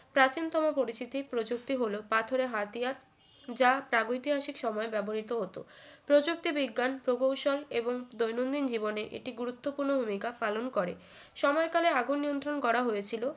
প্রাচীনতম পরিচিতি প্রযুক্তি হল পাথরের হাতিয়ার যা প্রাগঐতিহাসিক সময় ব্যবহৃত হতো প্রযুক্তি বিজ্ঞান প্রকৌশল এবং দৈনন্দিন জীবনে একটি গুরুত্বপূর্ণ ভূমিকা পালন করে সময়কালে আগুন নিয়ন্ত্রণ করা হয়েছিল